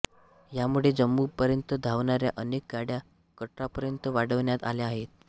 ह्यामुळे जम्मूपर्यंत धावणाऱ्या अनेक गाड्या कटरापर्यंत वाढवण्यात आल्या आहेत